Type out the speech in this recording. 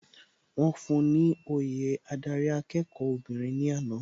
Wọ́n fún un ni òye adarí akẹ́kọ̀ọ́ obìnrin ní àná.